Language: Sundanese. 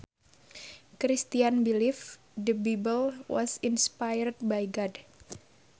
Christians believe the Bible was inspired by God